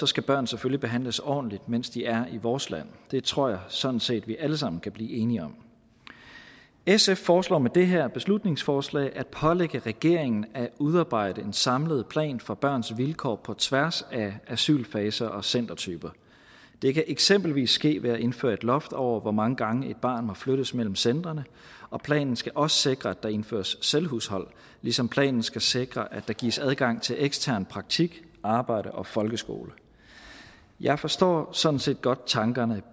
skal børn selvfølgelig behandles ordentligt mens de er i vores land det tror jeg sådan set vi alle sammen kan blive enige om sf foreslår med det her beslutningsforslag at pålægge regeringen at udarbejde en samlet plan for børns vilkår på tværs af asylfaser og centertyper det kan eksempelvis ske ved at indføre et loft over hvor mange gange et barn må flyttes mellem centrene og planen skal også sikre at der indføres selvhushold ligesom planen skal sikre at der gives adgang til ekstern praktik arbejde og folkeskole jeg forstår sådan set godt tankerne